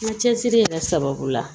Ŋa cɛsiri yɛrɛ sababu la